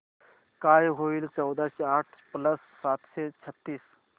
काय होईल चौदाशे आठ प्लस सातशे छ्त्तीस